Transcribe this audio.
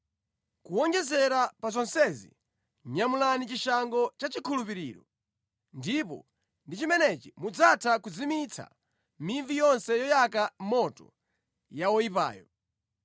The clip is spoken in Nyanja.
Kuwonjezera pa zonsezi, nyamulani chishango cha chikhulupiriro, ndipo ndi chimenechi mudzatha kuzimitsa mivi yonse yoyaka moto ya oyipayo.